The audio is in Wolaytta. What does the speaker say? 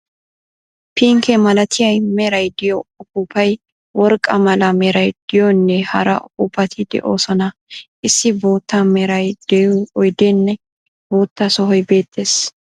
Pinkke malatiya meray de'iyo uppuuppay, worqqa mala meray de'iyonne hara uppuppati de'oosona. Issi boottaa meray de'iyo oydeenne bootta sohoy beettees.